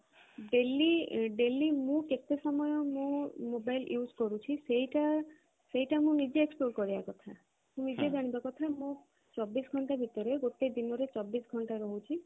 daily daily ମୁଁ କେତେ ସମୟ ମୁଁ mobile use କରୁଛି ସେଇଟା ସେଇଟା ମୁଁ ନିଜେ କରିବା କଥା ନିଜେ ଜାଣିବା କଥା ଯେ ମୁଁ ଚବିଶ ଘଣ୍ଟା ଭିତରେ ଗୋଟେ ଦିନ ଚବିଶ ଘଣ୍ଟା ରହୁଛି